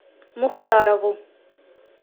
мухтарову